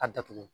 A datugu